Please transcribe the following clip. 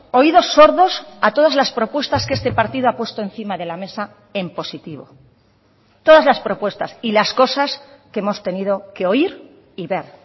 oídos sordos a todas las propuestas que este partido ha puesto encima de la mesa en positivo todas las propuestas y las cosas que hemos tenido que oír y ver